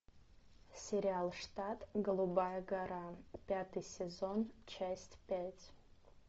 сериал штат голубая гора пятый сезон часть пять